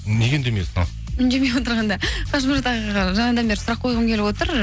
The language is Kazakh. неге үндемей отырсың ал үндемей отырғанда қажымұрат ағаға жаңадан бері сұрақ қойғым келіп отыр